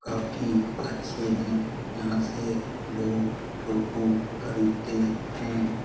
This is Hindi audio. काफी अच्छे है यहाँ से लोग ऑटो खरीदते है।